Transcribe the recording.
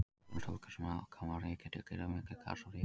Uppruna sólkerfis okkar má rekja til gríðarmikils gas- og rykskýs.